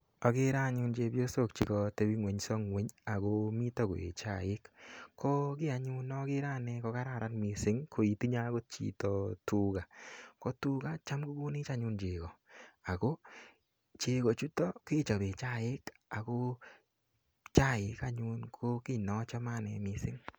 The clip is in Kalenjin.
Agere anyun chepyosok chekatebingwenyo akomito koeei chaik. Ko anyun nagere anyun nagere ane kokararan mising koitinye akot chito akot tuga. Ko tuga cham kokonech anyun cheko, ako cheko chutok kechobe chaik ako chaik anyun ko kiy neachame ane mising.